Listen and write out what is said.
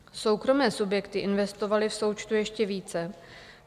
Soukromé subjekty investovaly v součtu ještě více.